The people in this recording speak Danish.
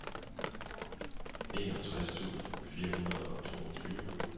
enogtres tusind fire hundrede og toogtyve